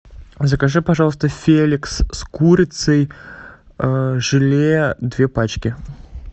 закажи пожалуйста феликс с курицей желе две пачки